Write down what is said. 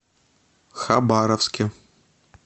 хабаровске